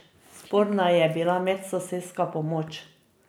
Sporna je bila medsosedska pomoč.